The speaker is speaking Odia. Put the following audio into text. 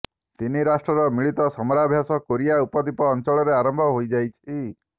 ତିନି ରାଷ୍ଟ୍ରର ମିଳିତ ସମରାଭ୍ୟାସ କୋରିଆ ଉପଦ୍ୱପୀ ଅଂଚଳରେ ଆରମ୍ଭ ହୋଇଯାଇଛି